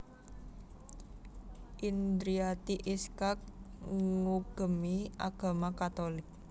Indriati Iskak ngugemi agama Katolik